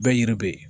Bɛɛ yiri bɛ yen